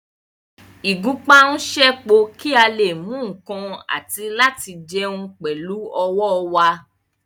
Ìgúnpá ń ṣẹ́po kí a lè mú nǹkan àti láti jẹun pẹ̀lú ọwọ́ wa